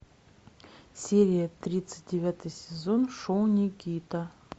серия тридцать девятый сезон шоу никита